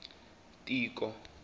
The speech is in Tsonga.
tiko